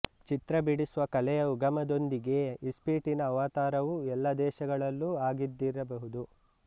ಚಿತ್ರ ಬಿಡಿಸುವ ಕಲೆಯ ಉಗಮದೊಂದಿಗೇ ಇಸ್ಪೀಟಿನ ಅವತಾರವೂ ಎಲ್ಲ ದೇಶಗಳಲ್ಲೂ ಆಗಿದ್ದರಬಹುದು